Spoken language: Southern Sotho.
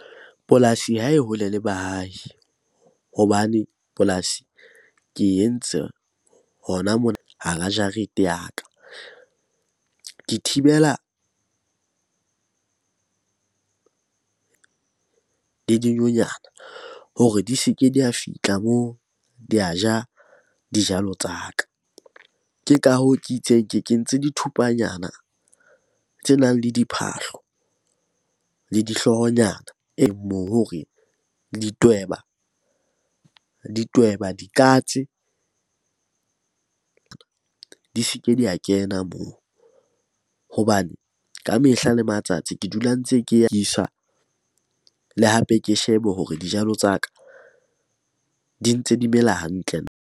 Polasi ha e hole le baahi hobane polasi ke entse hona mona hara jarete ya ka. Ke thibela dinyonyane hore di se ke di ya fihla moo, di a ja dijalo tsa ka. Ke ka hoo ke itseng ke kentse di thupanyana tse nang le diphahlo le dihloohonyana moo hore ditweba, dikatse di se ke di ya kena moo. Hobane ka mehla le matsatsi ke dula ntse ke le hape ke shebe hore dijalo tsa ka di ntse di mela hantle.